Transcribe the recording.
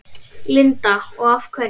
Linda: Og af hverju?